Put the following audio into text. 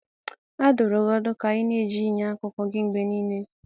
A dụrụ gị ọdụ ka ị na-eji enyo akụkụ gị mgbe niile.